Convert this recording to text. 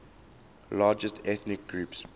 largest ethnic groups